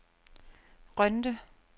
Rønde